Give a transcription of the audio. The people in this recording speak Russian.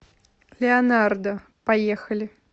леонардо поехали